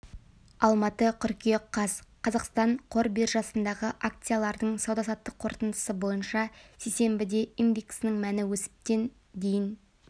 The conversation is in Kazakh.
алматы қыркүйек қаз қазақстан қор биржасындағы акциялардың сауда-саттық қорытындысы бойынша сейсенбіде индексінің мәні өсіп тен дейін